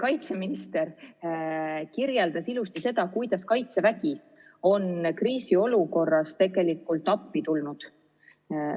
Kaitseminister kirjeldas ilusasti, kuidas Kaitsevägi on kriisiolukorras appi tulnud.